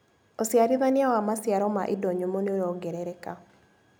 ũciarithania wa maciaro ma indo nyũmũ nĩũrongerereka.